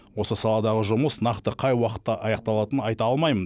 осы саладағы жұмыс нақты қай уақытта аяқталатынын айта алмаймын